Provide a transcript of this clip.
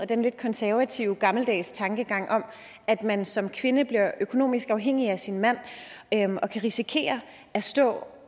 den lidt konservative gammeldags tankegang om at man som kvinde bliver økonomisk afhængig af sin mand og kan risikere at stå